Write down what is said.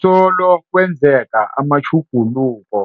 Solo kwenzeka amatjhu guluko